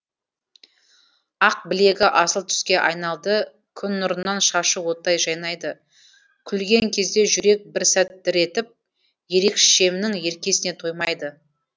ақ білегі асыл түске айналды күн нұрынан шашы оттай жайнайды күлген кезде жүрек бір сәт дір етіп ерекшемнің еркесіне тоймайды